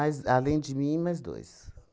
além de mim, mais dois.